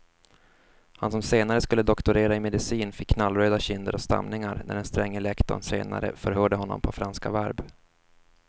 Han som senare skulle doktorera i medicin fick knallröda kinder och stamningar när den stränge lektorn senare förhörde honom på franska verb.